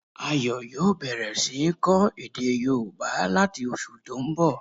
Ayo yòó bẹ̀rẹ̀ sí ń kọ́ èdè yóòbá láti oṣù tó n bọ̀